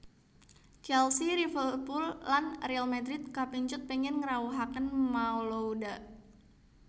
Chelsea Liverpooll lan Real Madrid kapèncut pèngin ngrawuhaken Malouda